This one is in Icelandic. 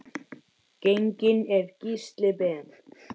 Genginn er Gísli Ben.